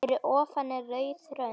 Fyrir ofan er rauð rönd.